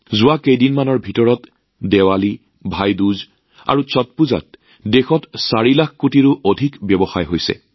দেশত দীপাৱলী ভাই দোজ আৰু ষট পূজাৰ সময়ত বিগত কেইদিনমানৰ ভিতৰতে ৪ লাখ কোটি টকাতকৈ অধিক মূল্যৰ ব্যৱসায় হৈছে